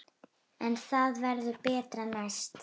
En það verður betra næst.